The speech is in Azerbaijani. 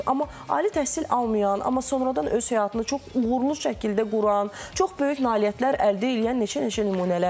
Amma ali təhsil almayan, amma sonradan öz həyatını çox uğurlu şəkildə quran, çox böyük nailiyyətlər əldə eləyən neçə-neçə nümunələr var.